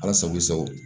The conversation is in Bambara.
Ala sago i sago